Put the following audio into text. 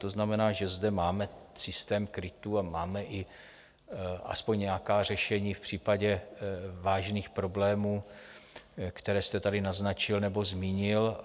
To znamená, že zde máme systém krytů a máme i aspoň nějaká řešení v případě vážných problémů, které jste tady naznačil nebo zmínil.